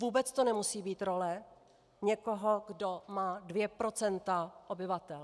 Vůbec to nemusí být role někoho, kdo má 2 % obyvatel.